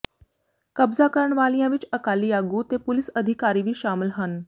ਕਬਜ਼ਾ ਕਰਨ ਵਾਲਿਆਂ ਵਿੱਚ ਅਕਾਲੀ ਆਗੂ ਤੇ ਪੁਲੀਸ ਅਧਿਕਾਰੀ ਵੀ ਸ਼ਾਮਲ ਹਨ